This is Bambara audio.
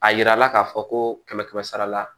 A yira la k'a fɔ ko kɛmɛ kɛmɛ sara la